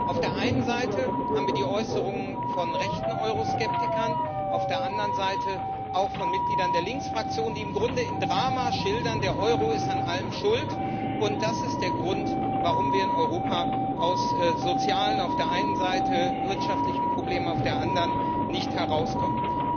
Auf der einen Seite haben wie die Äußerungen von rechten Euroskeptikern, auf der anderen Seite auch von Mitgliedern der Linksfraktion, die im Grunde im Drama schildern Der Euro ist an allem schuld, und das ist der Grund, warum wir in Europa aus sozialen Problemen auf der einen Seite und wirtschaftlichen Problemen auf der anderen nicht herauskommen.